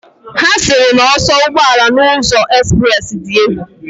Ha siri na oso ugboala na uzo express di egwu.